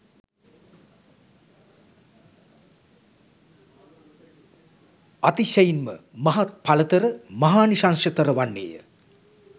අතිශයින් ම මහත් ඵලතර මහානිශංසතර වන්නේ ය.